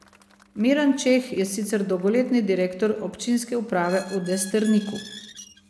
Miran Čeh je sicer dolgoletni direktor občinske uprave v Desterniku.